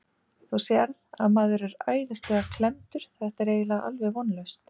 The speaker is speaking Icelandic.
Þú sérð að maður er æðislega klemmdur, þetta er eiginlega alveg vonlaust.